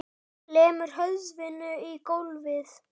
Lemur höfðinu í gólfið.